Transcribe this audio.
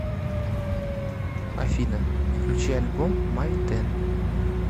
афина включи альбом май тен